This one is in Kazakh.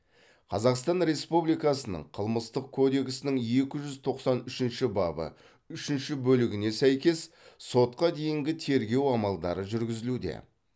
қазақстан республикасының қылмыстық кодексінің екі жүз тоқсан үшінші бабы үшінші бөлігіне сәйкес сотқа дейінгі тергеу амалдары жүргізілуде